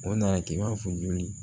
O nana kɛ i b'a fɔ joli